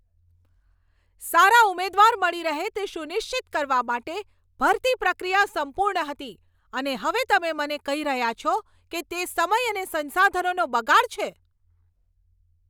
સારા ઉમેદવાર મળી રહે તે સુનિશ્ચિત કરવા માટે ભરતી પ્રક્રિયા સંપૂર્ણ હતી, અને હવે તમે મને કહી રહ્યા છો કે તે સમય અને સંસાધનોનો બગાડ છે.